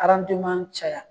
caya